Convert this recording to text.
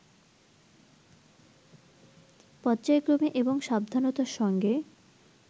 পর্যায়ক্রমে এবং সাবধানতার সঙ্গে